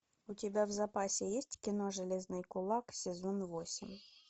у тебя в запасе есть кино железный кулак сезон восемь